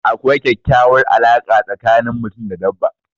Akwai kekyauwar alarka tsakani mutum da dabba